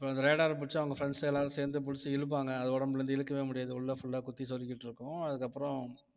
அப்ப அந்த radar அ பிடிச்சு அவங்க friends எல்லாரும் சேர்ந்து புடிச்சு இழுப்பாங்க அது உடம்புல இருந்து இழுக்கவே முடியாது உள்ள full ஆ குத்தி சொருகிட்டு இருக்கும் அதுக்கப்புறம்